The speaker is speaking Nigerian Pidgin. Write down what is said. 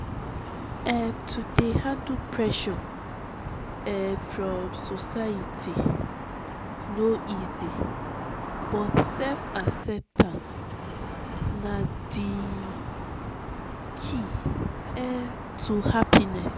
um to dey handle pressure um from society no easy but self-acceptance na di key um to happiness.